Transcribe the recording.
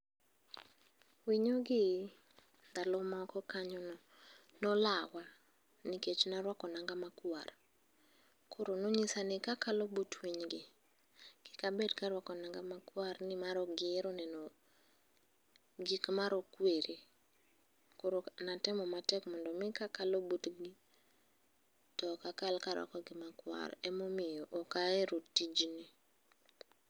winyo gi ndalo moko kanyo nolawa nikech naruako nanga makwar, koro nonyisa ni kakalo but winy gi kik abed ka aruako nang'a makwar nikech ok gihero neno gik marokwere, koro natemo matek mondo mi ka akalo but gi to ok akal ka aruako gima kwar ema omiyo ok ahero tijni.